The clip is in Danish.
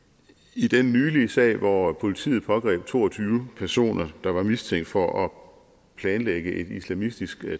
i den nylige sag hvor politiet pågreb to og tyve personer der var mistænkt for at planlægge et islamistisk